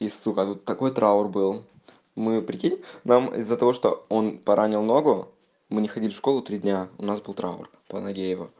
и сука тут такой траур был мы прикинь нам из-за того что он поранил ногу мы не ходили в школу три дня у нас был траур по ноге его